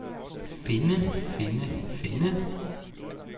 finde finde finde